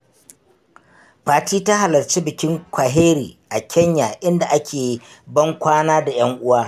Fati ta halarci bikin Kwaheri a Kenya inda ake ban kwana da ‘yan uwa.